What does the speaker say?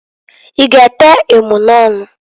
I ga ete emunọnụ?